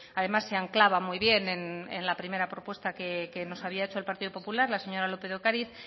además se anclaba muy bien en la primera propuesta que nos había hecho el partido popular la señora lópez de ocariz